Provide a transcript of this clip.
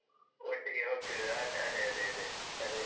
ಒಟ್ಟಿಗೆ ಹೋಗ್ತಿದ್ದದ್ದು. ಅದ್ ಅದೇ ಅದೇ ಅದೇ ಅದೇ.